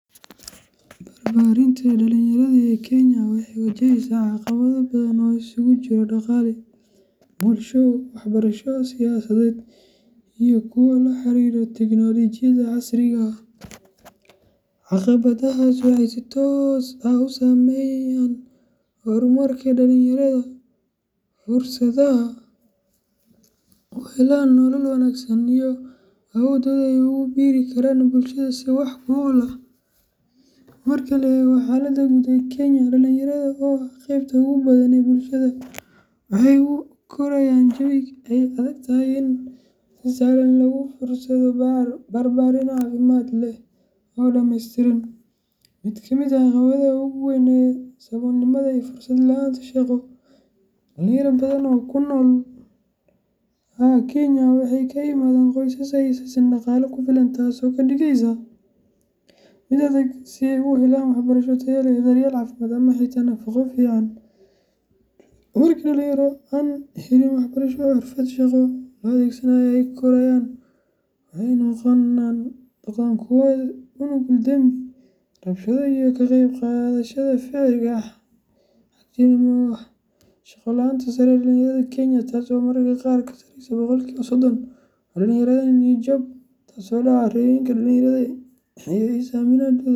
Barbaarinta dhalinyarada ee Kenya waxay wajahaysaa caqabado badan oo isugu jira dhaqaale, bulsho, waxbarasho, siyaasadeed, iyo kuwo la xiriira tiknoolajiyadda casriga ah. Caqabadahaas waxay si toos ah u saameeyaan horumarka dhalinyarada, fursadaha ay u helaan nolol wanaagsan, iyo awooddooda ay ugu biiri karaan bulshada si wax ku ool ah. Marka la eego xaaladda guud ee Kenya, dhalinyarada oo ah qaybta ugu badan ee bulshada waxay ku korayaan jawi ay adag tahay in si sahlan lagu helo fursado barbaarin caafimaad leh oo dhameystiran. Mid ka mid ah caqabadaha ugu weyn waa saboolnimada iyo fursad la'aanta shaqo. Dhalinyaro badan oo ku nool Kenya waxay ka yimaadaan qoysas aan haysan dhaqaale ku filan, taasoo ka dhigaysa mid adag in ay helaan waxbarasho tayo leh, daryeel caafimaad, ama xitaa nafaqo fiican. Markii dhalinyaro aan helin waxbarasho iyo xirfad shaqo loo adeegsado ay korayaan, waxay noqdaan kuwo u nugul dembi, rabshado, iyo ka qayb qaadashada ficillo xag jirnimo ah. Shaqo la’aanta sare ee dhalinyarada Kenya taas oo mararka qaar ka sarreysa boqolkiba sodon waxay dhalinaysaa niyad jab, taasoo dhaawacda rajooyinka dhalinyarada iyo is aaminaadooda.